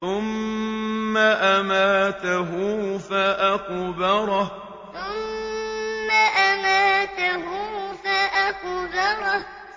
ثُمَّ أَمَاتَهُ فَأَقْبَرَهُ ثُمَّ أَمَاتَهُ فَأَقْبَرَهُ